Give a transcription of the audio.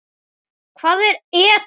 Hvað er ETA?